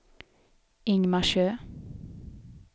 Ingmarsö